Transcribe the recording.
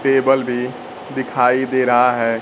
Table भी दिखाई दे रहा है।